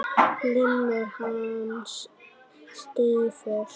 Limur hans stífur.